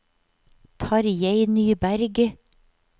Tarjei Nyberg